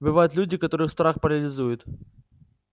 бывают люди которых страх парализует